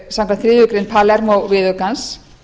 samkvæmt þriðju grein palermó viðaukans